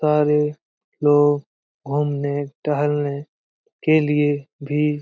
सारे लोग घूमने टहलने के लिए भी --